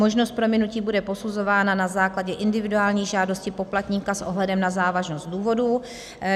Možnost prominutí bude posuzována na základě individuální žádosti poplatníka s ohledem na závažnost důvodů.